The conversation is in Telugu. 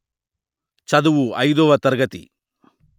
చదువు అయిదువ తరగతి